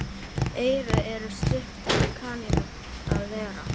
Eyru eru stutt af kanínu að vera.